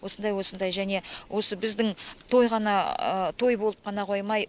осындай осындай және осы біздің той болып қана қоймай